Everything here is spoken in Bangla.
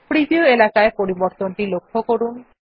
প্রিভিউ এলাকায় পরিবর্তনটি লক্ষ্য করুন